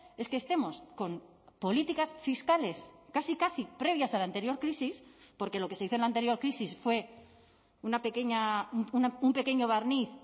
es que estemos con políticas fiscales casi casi previas a la anterior crisis porque lo que se hizo en la anterior crisis fue una pequeña un pequeño barniz